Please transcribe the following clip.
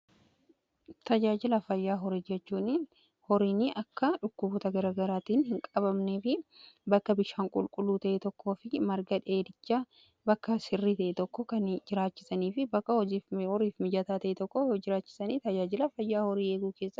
Tajaajilaa fayyaa horii jechuun horiin akka dhukkuboota garagaraatiin hin qabamne fi bakka bishaan qulqulluu ta'ee tokko fi marga dheedicha bakka sirrii ta'e tokko kan jiraachisanii fi bakka horiif mijataa ta'e tokko jiraachisanii tajaajilaa fayyaa horii eeguu keessaa isa tokko.